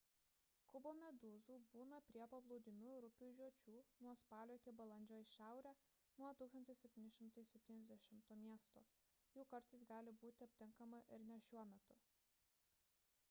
kubomedūzų būna prie paplūdimių ir upių žiočių nuo spalio iki balandžio į šiaurę nuo 1770 miesto jų kartais gali būti aptinkama ir ne šiuo metu